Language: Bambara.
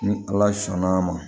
Ni ala sɔnn'a ma